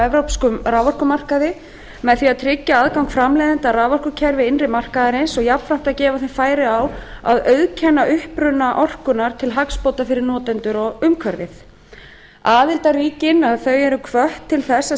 evrópskum raforkumarkaði með því að tryggja aðgang framleiðenda að raforkukerfi innri markaðarins og jafnframt að gefa þeim færi á að auðkenna uppruna orkunnar til hagsbóta fyrir notendur og umhverfið aðildarríkin eru hvött til þess að